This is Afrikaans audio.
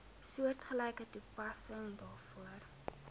soortgelyke toepassing daarvoor